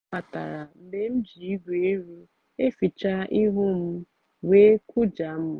ọ batara mgbe m ji igwe iru eficha ihu m wee kụjaa m.